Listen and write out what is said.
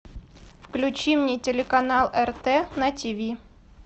включи мне телеканал рт на тиви